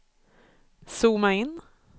zooma in